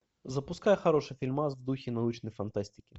запускай хороший фильмас в духе научной фантастики